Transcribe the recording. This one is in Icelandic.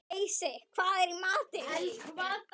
Heisi, hvað er í matinn?